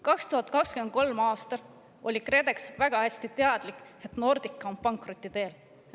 2023. aastal oli KredEx väga hästi teadlik, et Nordica on pankroti teel.